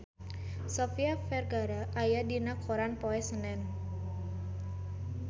Sofia Vergara aya dina koran poe Senen